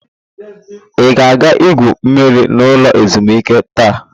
Ị ga-egwu mmiri n'ụlọ ezumuike taa?